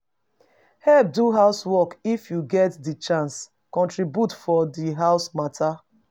Help do house work if you get di chance, contribute for di house matter